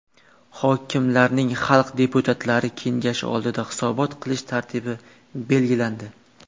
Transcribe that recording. Hokimlarning xalq deputatlari kengashi oldida hisobot qilish tartibi belgilandi.